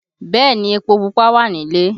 Bẹẹ ni, epo Pupa wà nílé